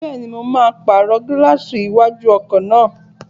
Bẹ́ẹ̀ni, mo máa pàrọ̀ gílààsì iwájú ọkọ̀ náà